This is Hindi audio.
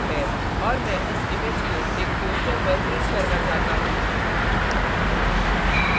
और मैं इस image को एक poster पर print करना चाहता हूँ